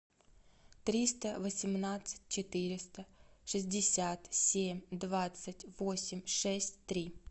триста восемнадцать четыреста шестьдесят семь двадцать восемь шесть три